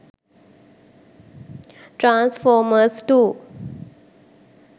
transformers 2